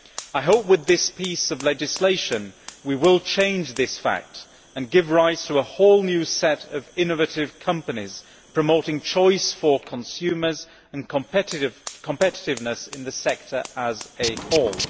I hope that with this piece of legislation we will change this fact and give rise to a whole new set of innovative companies, promoting choice for consumers and competitiveness in the sector as a whole.